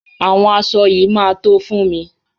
Àwọn aṣọ yìí máa tó fún mi.